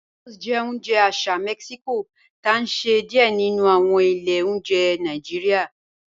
Tacos jẹ́ ọ̀unje àṣà Mexico ti a nṣẹ ni díẹ̀ nínu awọn ilẹ̀ ọ̀njẹ̀ Nàìjíríà.